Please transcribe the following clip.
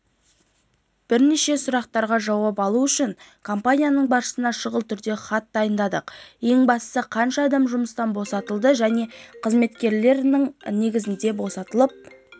бірнеше сұрақтарға жауап алу үшін компанияның басшысына шұғыл түрде хат дайындадық ең бастысы қанша адам жұмыстан босатылады және қызметкерлер ненің негізіндебосатылып